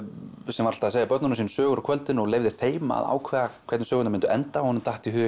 sem var alltaf að segja börnunum sínum sögur á kvöldin og leyfði þeim að ákveða hvernig sögurnar myndu enda og honum datt í hug